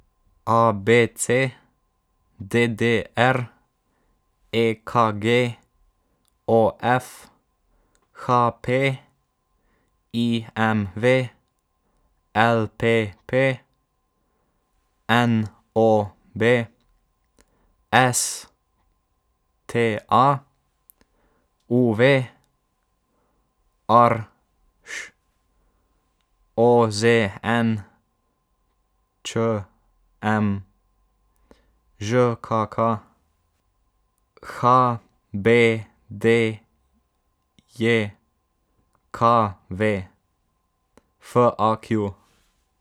A B C; D D R; E K G; O F; H P; I M V; L P P; N O B; S T A; U V; R Š; O Z N; Č M; Ž K K; H B D J K V; F A Q.